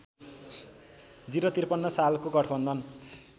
०५३ सालको गठवन्धन